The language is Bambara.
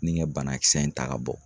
Ni kɛ banakisɛ in ta ka bɔ